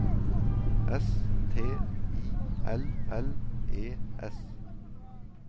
S T I L L E S